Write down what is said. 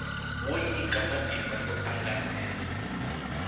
wo nyika matimba yo angarhela